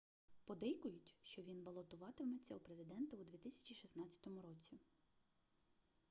подейкують що він балотуватиметься у президенти у 2016 році